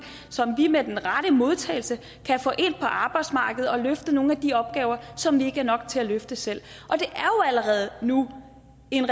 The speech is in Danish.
som vi med den rette modtagelse kan få ind på arbejdsmarkedet og løfte nogle af de opgaver som vi ikke er nok til at løfte selv og allerede nu en